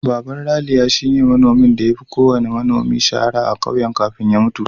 Baban Raliya shine manomin da ya fi kowanne manomi shahara a ƙauyen kafin ya mutu.